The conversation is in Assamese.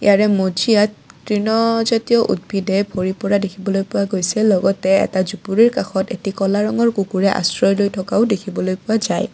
ইয়াৰে মজিয়াত তৃণ জাতীয় উদ্ভিদে ভৰি পৰা দেখিবলৈ পোৱা গৈছে লগতে এটা জুপুৰিৰ কাষত এটি ক'লা ৰঙৰ কুকুৰে আশ্ৰয়লৈ থকাও দেখিবলৈ পোৱা যায়।